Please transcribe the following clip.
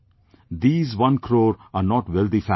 These one crore are not wealthy families